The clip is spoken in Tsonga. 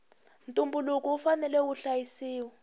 ntumbuluko wu fanela wu hlayisiwa